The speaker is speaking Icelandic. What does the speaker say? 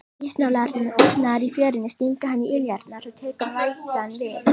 Ísnálarnar í fjörunni stinga hann í iljarnar, svo tekur vætan við.